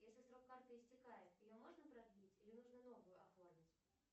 если срок карты истекает ее можно продлить или нужно новую оформить